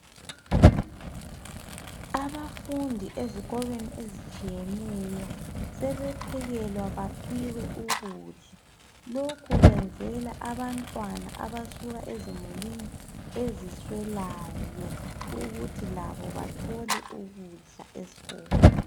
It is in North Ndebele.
Abafundi ezikolweni ezitshiyeneyo sebephekelwa baphiwe ukudla, lokhu kwenzelwa abantwana abasuka ezimulini eziswelayo ukuthi labo bathole ukudla esikolo